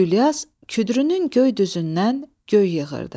Gülyaz küdrünün göy düzündən göy yığırdı.